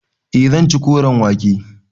Eh zan ci koren wake.